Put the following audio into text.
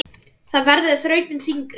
Það verður þrautin þyngri.